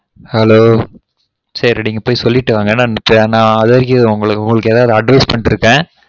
Hello சரி நீங்க பொய் சொல்லிட்டு வாங்க இப்பொ நான் அதுவரைகு உங்கலுகு எதும் advice பன்னிட்டுருகேன்